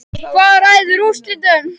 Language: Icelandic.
Hvað ræður úrslitum?